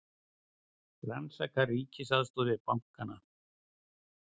Rannsaka ríkisaðstoð við bankana